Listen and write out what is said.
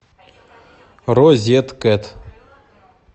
розеткед